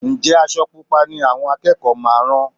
Ǹjẹ́ aṣọ Pupa ni àwọn akẹ́kọ̀ọ́ máa rán?